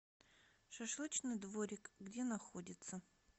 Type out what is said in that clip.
шашлычный дворик где находится